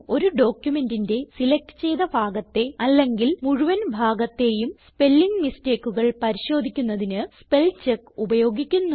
ഒരു ഡോക്യുമെന്റിന്റെ സിലക്റ്റ് ചെയ്ത ഭാഗത്തെ അല്ലെങ്കിൽ മുഴുവൻ ഭാഗത്തേയും സ്പെല്ലിങ് mistakeകൾ പരിശോധിക്കുന്നതിന് സ്പെൽചെക്ക് ഉപയോഗിക്കുന്നു